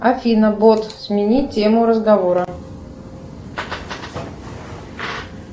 афина бот смени тему разговора